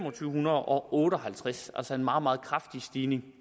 hundrede og otte og halvtreds altså en meget meget kraftig stigning